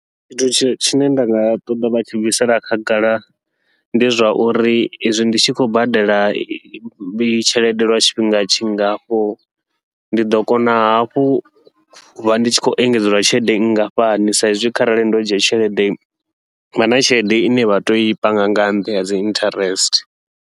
Tshithu tshi tshine nda nga ṱoḓa vha tshi bvisela khagala, ndi zwauri izwi ndi tshi khou badela tshelede lwa tshifhinga tshingafho ndi ḓo kona hafhu uvha ndi tshi khou engedzelwa tshelede nngafhani, sa izwi kharali ndo dzhia tshelede havha na tshelede ine vha toi panga nga nṱha ya dzi interest.